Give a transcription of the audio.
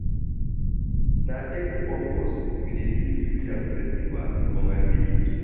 Na every August we dey do New Yam festival for my village.